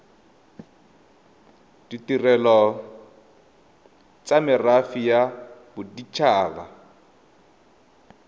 ditirelo tsa merafe ya bodit